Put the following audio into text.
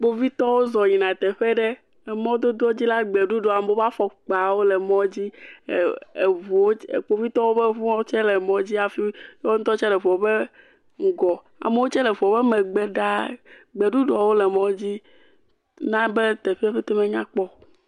Kpovitɔwo zɔ yina teƒe aɖe, emɔdodo dzi la gbeɖuɖɔ, amewo ƒe afɔkpawo le mɔ dzi, eee….eŋuwo tse…kpovitɔwo ƒe ŋuwo tse le mɔ dzi hafi woawon ŋutɔ tse le eŋu ƒe ŋgɔ, amewo tse le eŋua ƒe megbe ɖaa, gbeɖuɖɔwo tse le mɔ dzi na be teƒe pete menyakpɔ o.